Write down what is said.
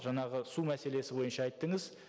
жаңағы су мәселесі бойынша айттыңыз